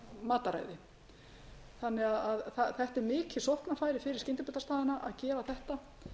matarræði þetta er mikið sóknarfæri fyrir skyndibitastaðina að gera þetta